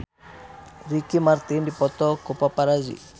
Ricky Martin dipoto ku paparazi